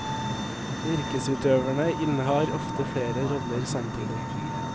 Yrkesutøverne innehar ofte flere roller samtidig.